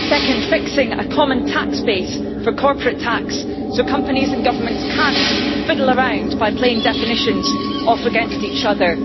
second, fixing a common tax base for corporate tax so companies and governments cannot fiddle around by playing definitions off against each other